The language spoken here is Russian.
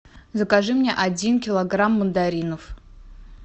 закажи мне один килограмм мандаринов